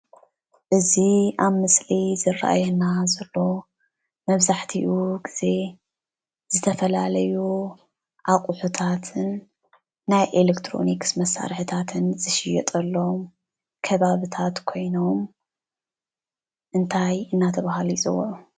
እዚ ኣብ ምስሊ ዝረእየና ዘሎ መብዛሕትኡ ግዜ ዝተፈላለዩ ኣቁሕታት ናይ ኤሌክትሮኒክስ መሳርሕታት ከባብታት እንታይ እንዳተባሃለ ይፅዋዕ?